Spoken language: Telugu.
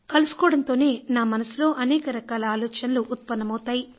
కలుసుకోవడంతోనే నా మనసులో అనేక రకాల ఆలోచనలు తలెత్తుతాయి